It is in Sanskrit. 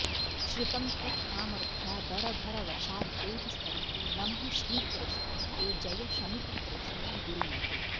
श्रितं त्वत्सामर्थ्यादरभरवशाद्देवि सरिते नमः श्रीकृष्णे ते जय शमिततृष्णे गुरुमते